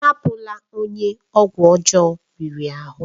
Abụ́la onye ọgwụ ọjọọ riri ahụ!